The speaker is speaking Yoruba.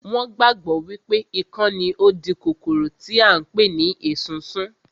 Wọn gbàgbọ́ wípé ikán ni ó ń di kòkòrò tí à ń pè ní esunsun